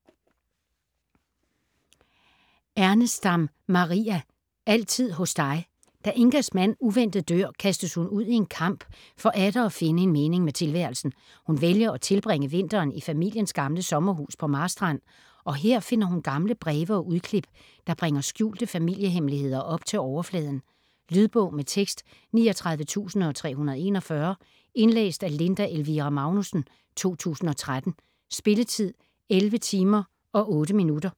Ernestam, Maria: Altid hos dig Da Ingas mand uventet dør kastes hun ud i en kamp for atter at finde en mening med tilværelsen. Hun vælger at tilbringe vinteren i familiens gamle sommerhus på Marstrand og her finder hun gamle breve og udklip, der bringer skjulte familiehemmeligheder op til overfladen. Lydbog med tekst 39341 Indlæst af Linda Elvira Magnussen, 2013. Spilletid: 11 timer, 8 minutter.